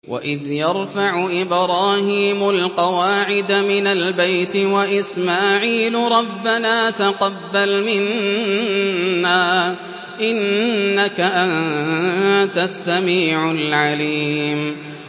وَإِذْ يَرْفَعُ إِبْرَاهِيمُ الْقَوَاعِدَ مِنَ الْبَيْتِ وَإِسْمَاعِيلُ رَبَّنَا تَقَبَّلْ مِنَّا ۖ إِنَّكَ أَنتَ السَّمِيعُ الْعَلِيمُ